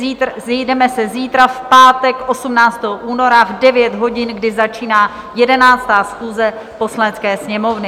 Sejdeme se zítra, v pátek 18. února, v 9 hodin, kdy začíná 11. schůze Poslanecké sněmovny.